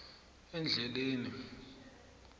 endleleni